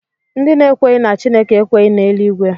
Ndị na-ekweghị na Chineke ekweghị na Eluigwe